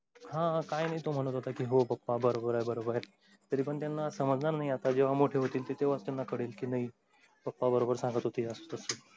हा काय नाई तो म्हणत होता. हो पप्पा बरोबर आहे बरोबर आहे. तरीपण त्यांना समजणार नाही आता जेंव्हा मोठे होतील तेंव्हाच तेंना कळेल पप्पा बरोबर सांगत होते.